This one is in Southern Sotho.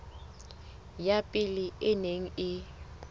ya pele e neng e